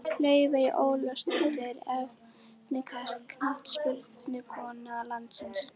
Laufey Ólafsdóttir Efnilegasta knattspyrnukona landsins?